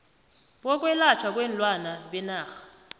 bokwelatjhwa kweenlwana benarha